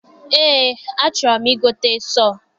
Eé, a chọrọ m I gote sọọ.